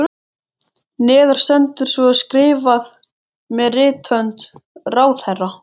Neðar stendur svo skrifað með rithönd ráðherra